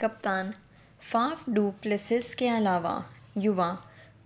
कप्तान Faf du Plessis के अलावा युवा